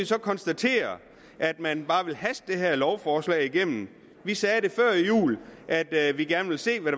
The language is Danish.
så konstatere at man bare vil haste det her lovforslag igennem vi sagde før jul at vi gerne ville se hvad